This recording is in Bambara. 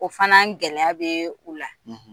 O fana gɛlɛya bɛ u la